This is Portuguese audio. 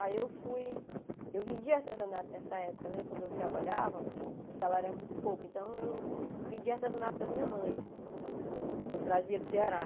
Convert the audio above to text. Aí eu fui, eu vendia artesanato nessa época, né, quando eu trabalhava, o salário era muito pouco, então eu vendia artesanato da minha mãe, que eu trazia do Ceará.